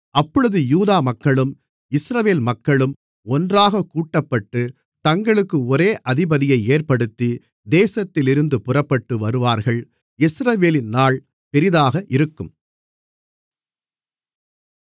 அப்பொழுது யூதா மக்களும் இஸ்ரவேல் மக்களும் ஒன்றாகக் கூட்டப்பட்டு தங்களுக்கு ஒரே அதிபதியை ஏற்படுத்தி தேசத்திலிருந்து புறப்பட்டு வருவார்கள் யெஸ்ரயேலின் நாள் பெரிதாக இருக்கும்